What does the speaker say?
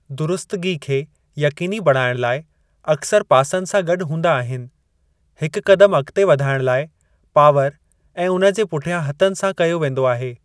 दुरुस्तगी खे यक़ीनी बणाइणु लाइ अक्सर पासनि सां गॾु हूंदा आहिनि। हिक क़दमु अॻिते वधणु लाइ पावर ऐं उन जे पुठियां हथनि सां कयो वेंदो आहे।